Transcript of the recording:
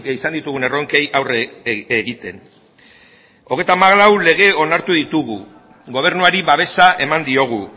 izan ditugun erronkei aurre egiten hogeita hamalau lege onartu ditugu gobernuari babesa eman diogu